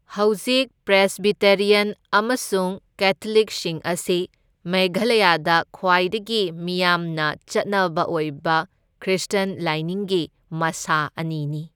ꯍꯧꯖꯤꯛ ꯄ꯭ꯔꯦꯁꯕꯤꯇꯦꯔꯤꯌꯟ ꯑꯃꯁꯨꯡ ꯀꯦꯊꯣꯂꯤꯛꯁꯤꯡ ꯑꯁꯤ ꯃꯦꯘꯂꯌꯥꯗ ꯈ꯭ꯋꯥꯏꯗꯒꯤ ꯃꯤꯌꯥꯝꯅ ꯆꯠꯅꯕ ꯑꯣꯏꯕ ꯈ꯭ꯔꯤꯁꯇ꯭ꯌꯟ ꯂꯥꯏꯅꯤꯡꯒꯤ ꯃꯥꯁꯥ ꯑꯅꯤꯅꯤ꯫